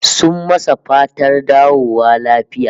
Sun masa fatar dawowa lafiya